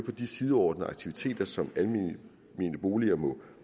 de sideordnede aktiviteter som almene boliger må